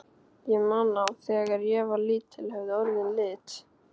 Ég man að þegar ég var lítill höfðu orðin lit.